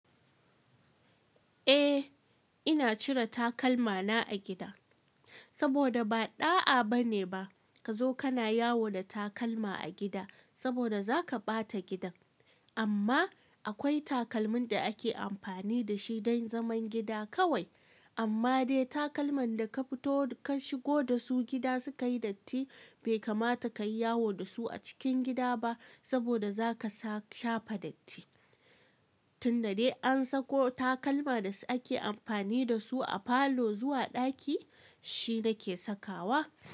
Eh ina cire takalmana a gida saboda ba ɗa'a bane ba ka zo kana yawo da takalma a gida saboda zaka ɓata gidan. Amma akwai takalmin da ake amfani da shi don zaman gida kawai. Amma dai takalman da ka fito ka shigo da su gida suka yi datti bai kamata kayi yawo da su a cikin gida ba saboda zaka sa shafe datti. Tun da dai an sako takalma da ake amfani da su a falo zuwa ɗaki shi nake sakawa.